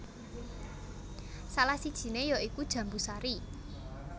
Salah sijiné ya iku jambu sari